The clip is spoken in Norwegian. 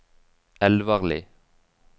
Elvarli